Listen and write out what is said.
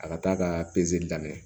A ka taa ka pezeli daminɛ